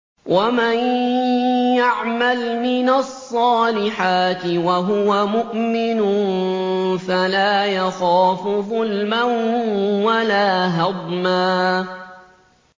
وَمَن يَعْمَلْ مِنَ الصَّالِحَاتِ وَهُوَ مُؤْمِنٌ فَلَا يَخَافُ ظُلْمًا وَلَا هَضْمًا